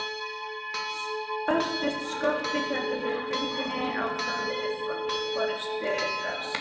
Sperrtist skottið héldu þeir göngunni áfram undir forystu Refs.